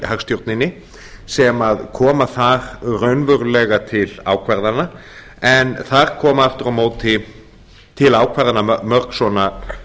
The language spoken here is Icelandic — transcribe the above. hagstjórninni sem koma þar raunverulega til ákvarðana en þar koma aftur á móti til ákvarðana mörg svona